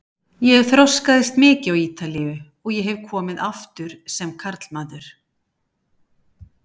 Ég þroskaðist mikið á Ítalíu og ég hef komið aftur sem karlmaður.